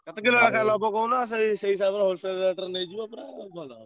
।